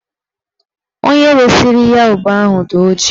Onye resiri ya ube ahụ dị ọjị